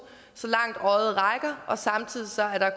så langt øjet rækker og samtidig